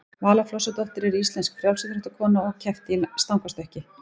vala flosadóttir er íslensk frjálsíþróttakona og keppti í stangarstökki